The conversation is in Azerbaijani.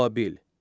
Babil.